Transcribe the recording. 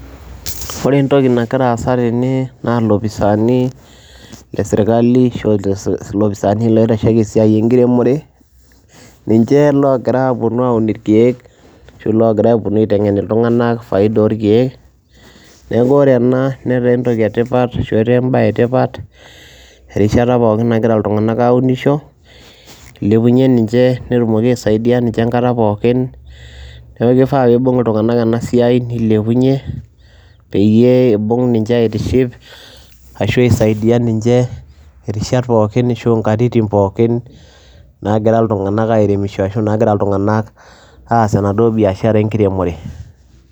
Ore entoki nagira aasa tene na lopisani leserkali ashu lopisani oitashieki esiai eremore ninche ogira aponu aun irkiek ashu logira aponu aitengen ltunganak faida orkiek, neaku ore ena netaa entoki etipat ashu embae etipat erishata pookin nagira ltunganak aumisho, ilepunye ninche netumoki aisaidia ninche enkata pookin neaku kifaa pibung ltunganak enasiai nilepunye peyie ibung ninche aitiship ashu aisaidia ninche rishat pookin ashu nkatitin pookin nagira ltunganak aremisho ashu nagira ltunganak aas enaduo biashara enkiremore.